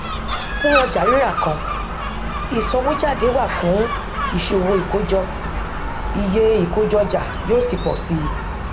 fún ọjàrírà kan ìsanwójáde wà fún ìṣòwò ìkójọ iye ìkójọọjà yóò sì pò sí i